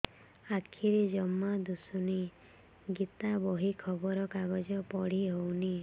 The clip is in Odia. ଆଖିରେ ଜମା ଦୁଶୁନି ଗୀତା ବହି ଖବର କାଗଜ ପଢି ହଉନି